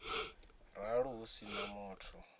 ralo hu si na muthu